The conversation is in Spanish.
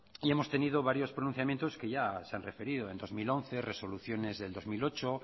y hemos tenido varios pronunciamientos que ya se han referido en dos mil once resoluciones del dos mil ocho